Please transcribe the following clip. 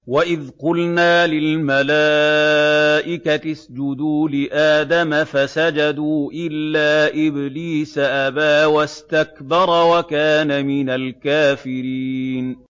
وَإِذْ قُلْنَا لِلْمَلَائِكَةِ اسْجُدُوا لِآدَمَ فَسَجَدُوا إِلَّا إِبْلِيسَ أَبَىٰ وَاسْتَكْبَرَ وَكَانَ مِنَ الْكَافِرِينَ